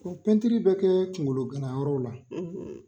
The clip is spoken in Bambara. Ko Pɛntiri bɛ kɛ kunkologana yɔrɔw la